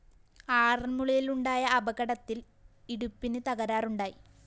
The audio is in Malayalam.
ആറന്‍മുളയിലുണ്ടായ അപകടത്തില്‍ ഇടുപ്പിന് തകരാറുണ്ടായി